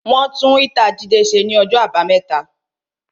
Wọn tún ítàa Jídé ṣe ní ọjọ́ àbámẹ́ta